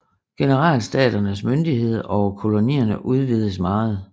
Generalstaternes myndighed over kolonierne udvidedes meget